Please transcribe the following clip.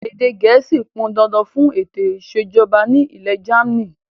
Èdè gẹ̀ẹ́sì ó pọn dandan fún ètò ìsèjọba ni ilẹ̀ jamaaní